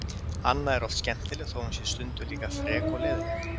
Anna er oft skemmtileg þó að hún sé líka stundum frek og leiðinleg.